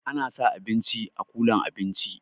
Ana sa abinci a kulan abinci